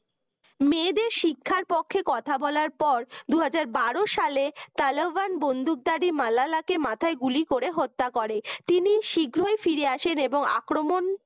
মেয়েদের শিক্ষার পক্ষে কথা বলার পর দুই হাজার বারো সালে তালেবান বন্দুকধারী মালালাকে মাথায় গুলি করে হত্যা করে তিনি শীঘ্রই ফিরে আসেন এবং আক্রমণ